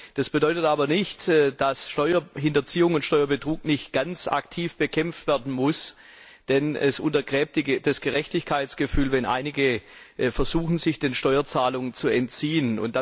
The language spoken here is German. Das bedeutet aber nicht, dass Steuerhinterziehung und Steuerbetrug nicht ganz aktiv bekämpft werden müssen, denn es untergräbt das Gerechtigkeitsgefühl, wenn einige versuchen, sich der Steuerzahlung zu entziehen.